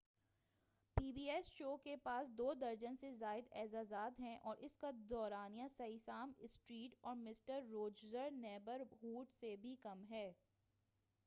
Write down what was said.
پی show ایس شو کے پاس دو درجن سے زائد اعزازات ہیں اور اس کا دورانیہ سیسام اسٹریٹ اور مسٹر روجرس نیبر ہوڈ سے بھی کم ہے